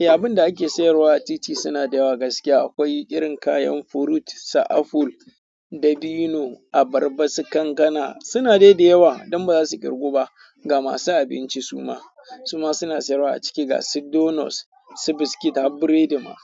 Eh, abin da ake sayarwa a titi suna da yawa gaskiya akwai irin kayan fruit, su aful, dabino, abarba, su kankana suna dai da yawa don ba za su ƙirgu ba ga masu abinci suma. Suma suna sayarwa a ciki gasu donos, su biskit har biredi ma.